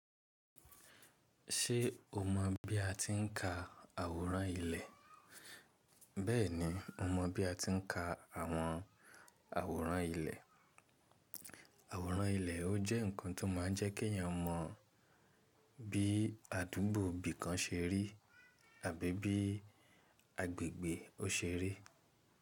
Ṣé o mọ̀ bí a ti ń ka àwòrán ilẹ̀? Bẹ́ẹ̀ni, mo mọ̀ bí a ti ń ka àwọn àwòrán ilẹ̀. Àwòrán ilẹ̀ jẹ́ nǹkan tó máa ń jẹ́ kí èyàn mọ bí àdúgbò bí kan se rí tàbí bí agbègbè óṣe rí.